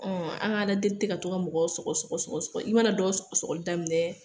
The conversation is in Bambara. Ɔ an ka ala deli tɛ ka mɔgɔ sɔgɔ sɔgɔ sɔgɔ, i mana dɔw sɔgɔli daminɛ